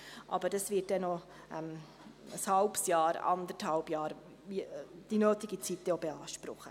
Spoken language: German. Aber das wird dann auch noch ein halbes Jahr, eineinhalb Jahre, die nötige Zeit beanspruchen.